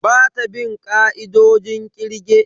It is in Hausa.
Bata bin ka'idojin kirge.